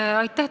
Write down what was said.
Aitäh!